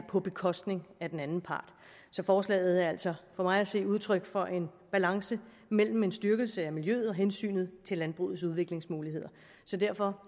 på bekostning af den anden part så forslaget er altså for mig at se udtryk for en balance mellem en styrkelse af miljøet og hensynet til landbrugets udviklingsmuligheder derfor